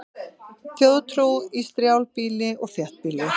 Þjóðtrú í strjálbýli og þéttbýli